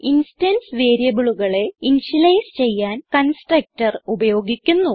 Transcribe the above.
instance വേരിയബിളുകളെ initialise ചെയ്യാൻ constructor ഉപയോഗിക്കുന്നു